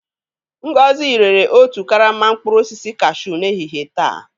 Ngozi rere otu karama mkpụrụ osisi kashuu n'ehihie taa.